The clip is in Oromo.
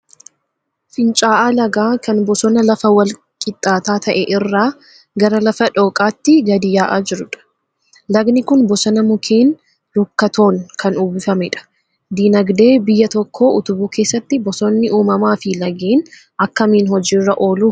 Finca'aa lagaa kan bosona lafa wal-qixxaataa ta'e irraa gara lafa dhooqaatti gadi yaa'aa jiruudha. Lagni kun bosona mukeen rukkatoon kan uwwifamedha. Dinagdee biyya tokkoo utubuu keessatti bosonni uumamaa fi lageen akkamiin hojiirra oolu?